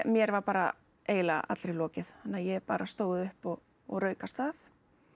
mér var bara eiginlega allri lokið þannig að ég bara stóð upp og og rauk af stað